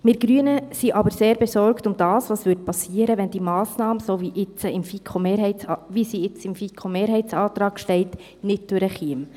Wir Grüne sind aber sehr besorgt darüber, was geschehen würde, wenn die Massnahme, wie sie im FiKo-Mehrheitsantrag steht, nicht durchkäme.